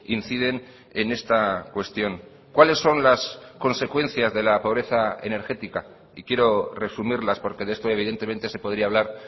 inciden en esta cuestión cuáles son las consecuencias de la pobreza energética y quiero resumirlas porque de esto evidentemente se podría hablar